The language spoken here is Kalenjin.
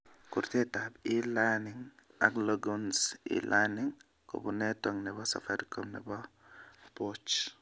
Kurtatab E-learning ak Longhorn's E-learning kobun network nebo Safaricom nebo boch